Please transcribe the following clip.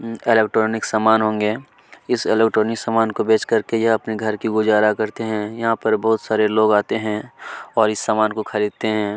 उँ electronic समान होंगे इस इलेक्ट्रॉनिक सामान को बेच करके अपने घर का गुजारा कर करते हैं यहाँ पर बहुत सारे लोग आते हैं इस सामान को खरीदते हैं।